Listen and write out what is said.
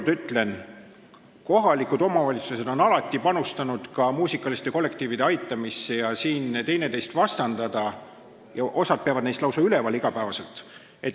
Aga ütlen veel kord: kohalikud omavalitsused on alati panustanud muusikaliste kollektiivide aitamisse ja osa peab neid lausa üleval, iga päev, nii et siin ei saa neid vastandada.